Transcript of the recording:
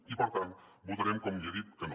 i per tant votarem com li he dit que no